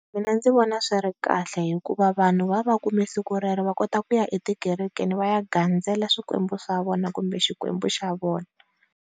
Mina ndzi vona swi ri kahle hikuva vanhu va va va kume siku rero va kota kuya etikerekeni va ya gandzela swikwembu swa vona kumbe xikwembu xa vona.